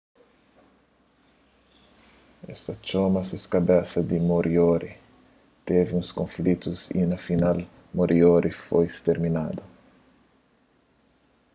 es ta txoma ses kabesa di moriori tevi alguns konflitu y na final moriori foi sterminadu